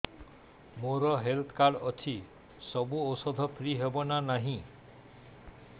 ମୋର health card ଅଛି ସବୁ ଔଷଧ ଫ୍ରି ହବ ନା ନାହିଁ